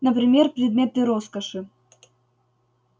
например предметы роскоши